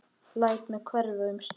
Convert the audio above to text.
Læt mig hverfa um stund.